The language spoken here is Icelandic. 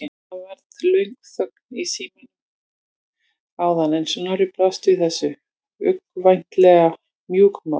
Það varð löng þögn í símanum áður en Snorri brást við þessu, uggvænlega mjúkmáll.